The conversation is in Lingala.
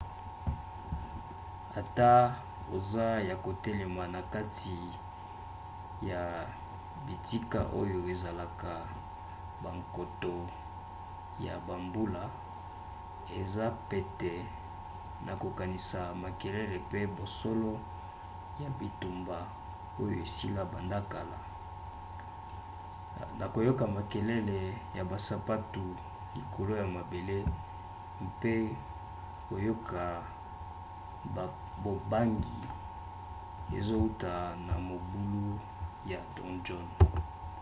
ata oza ya kotelema na kati ya bitika oyo esalaka bankoto ya bambula eza pete na kokanisa makelele pe basolo ya bitumba oyo esila banda kala na koyoka makelele ya basapatu likolo ya mabele mpe koyoka bobangi ezouta na mabulu ya donjon